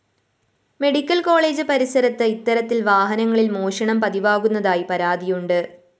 medical college പരിസരത്ത് ഇത്തരത്തില്‍ വാഹനങ്ങളില്‍ മോഷണം പതിവാകുന്നതായി പരാതിയുണ്ട്